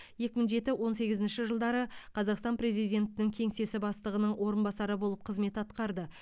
екі мың жеті он сегізінші жылдары қазақстан президентінің кеңсесі бастығының орынбасары болып қызмет атқарды